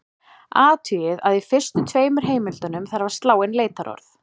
Athugið að í fyrstu tveimur heimildunum þarf að slá inn leitarorð.